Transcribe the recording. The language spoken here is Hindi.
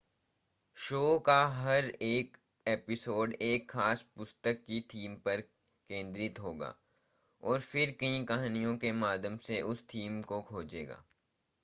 शो का हर एक एपिसोड एक ख़ास पुस्तक की थीम पर केंद्रित होगा और फिर कई कहानियों के माध्यम से उस थीम को खोजेगा